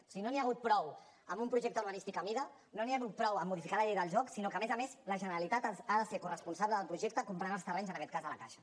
o sigui no n’hi ha hagut prou amb un projecte urbanístic a mida no n’hi ha hagut prou amb modificar la llei del joc sinó que a més a més la generalitat ha de ser corresponsable del projecte comprant els terrenys en aquest cas a la caixa